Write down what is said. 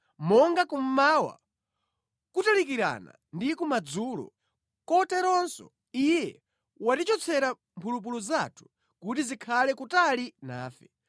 monga kummawa kutalikirana ndi kumadzulo, koteronso Iye watichotsera mphulupulu zathu kuti zikhale kutali nafe.